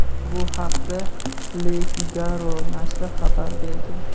Bu haqda "Le Figaro" nashri xabar bergan.